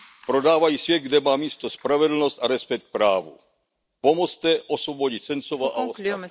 Prodávají svět, kde má místo spravedlnost a respekt k právu. Pomozte osvobodit Sencova a ostatní!